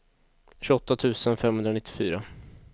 tjugoåtta tusen femhundranittiofyra